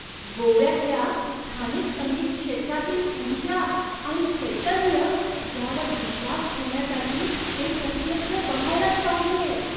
गोव्यातल्या स्थानिक संगीत क्षेत्रातील ऊर्जा आणि चैतन्य यावर विश्वास ठेवण्यासाठी ते प्रत्यक्ष बघायलाच पाहिजे.